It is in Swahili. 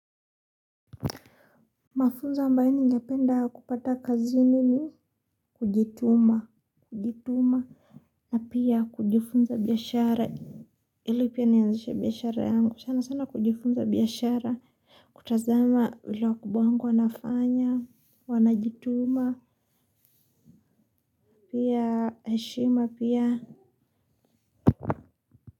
Mafunzo ambaye ningependa kupata kazini ni kujituma kujituma na pia kujifunza biashara ili pia nianzishe biashara yangu sana sana kujifunza biashara kutazama vile wakubwa wangu wanafanya wanajituma pia heshima pia.